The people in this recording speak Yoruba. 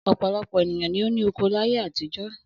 Ọ̀pọ̀lọpọ̀ ènìyàn ni ó ní oko láyé àtijọ́.